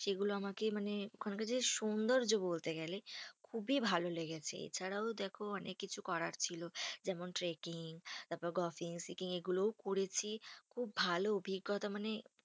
সেগুলো আমাকে মানে ওখানকার যে সৌন্দর্য্য বলতে গেলে খুবই ভালো লেগেছে। এছাড়াও দেখো অনেক কিছু করার ছিল, যেমন trecking তারপরএগুলোও করেছি। খুব ভালো অভিজ্ঞতা মানে